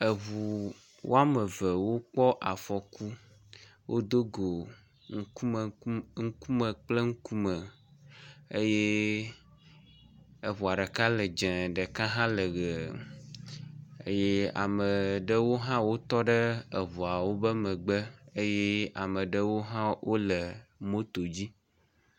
eʋu woameve wokpɔ afɔku wodógo ŋkume kple ŋkume eye eʋua ɖeka le dzɛ̃ ɖeka ha le ɣee eye ameɖewo hã wotɔɖe ʋua ɖeka ƒe megbe eye ameɖewo hã wóle moto dzi